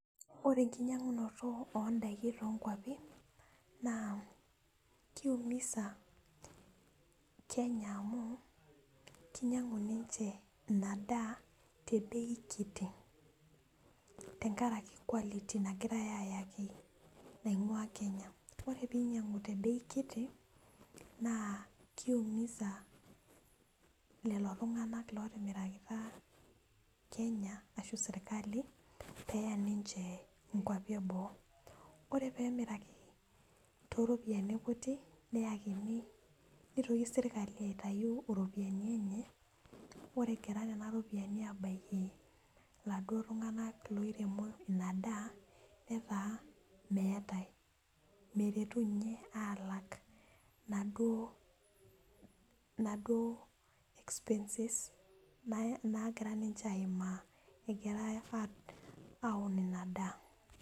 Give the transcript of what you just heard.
Ore enkinyiang'unoto ondaiki tonkuapi naa kiumisa kenya amu kinyiang'u ninche ina daa te bei kiti tenkaraki quality nagirae ayaki naing'ua kenya ore peinyiang'u te bei kiti naa kiumiza lelo tung'anak lotimirakita kenya ashu serkali peya ninche inkuapi eboo ore pemiraki toropiyiani kutik neyakini nitoki sirkali aitayu iropiani enye ore egira nena ropiyiani abaiki iladuo tung'anak loiremo ina daa netaa meetae meretu inye alak inaduo inaduo expenses nae nagira ninche aimaa egira aun ina daa.